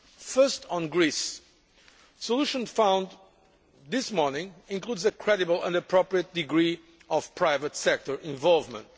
First, on Greece, the solution found this morning includes a credible and appropriate degree of private sector involvement.